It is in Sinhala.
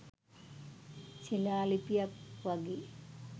ශිලා ලිපියක් වගේ